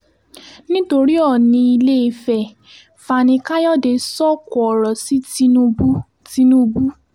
nítorí ọ́ọ̀nì ilé-ìfẹ́ fani káyọ̀dé sọ̀kò ọ̀rọ̀ sí tinubu tinubu